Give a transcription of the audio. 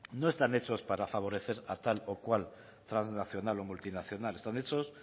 no están hechos para favorecer a tal o cual transnacional o multinacional están hechos